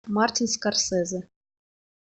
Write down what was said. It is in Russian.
мартин скорсезе